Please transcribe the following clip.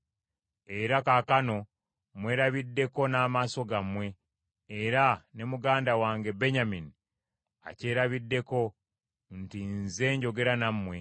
“Era kaakano mwerabiddeko n’amaaso gammwe era ne muganda wange Benyamini akyerabiddeko nti nze njogera nammwe.